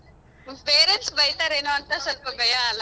ನಿಮ್ parents ಬೈತರೇನೋ ಅಂತ ಸೊಲ್ಪ ಭಯ ಅಲ.